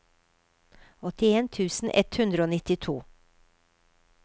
åttien tusen ett hundre og nittito